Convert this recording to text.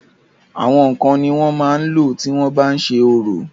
àwọn ǹkan ni wọ́n máa n lò tí wọ́n bá ń ṣe orò